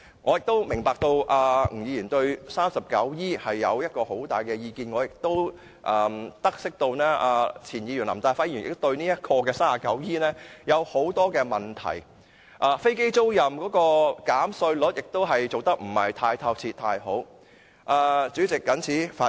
我明白吳議員對《稅務條例》第 39E 條有很大的意見，我亦都得悉前議員林大輝對第 39E 條有很多問題，有關飛機租賃的稅務寬減亦做得不太好。